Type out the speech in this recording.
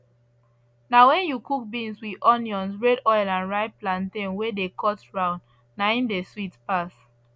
na wen you cook beans with onions red oil and ripe plantain wey dey cut round na im dey sweet pass